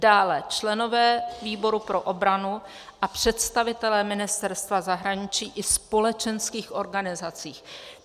- dále členové výboru pro obranu a představitelé ministerstva zahraničí i společenských organizací.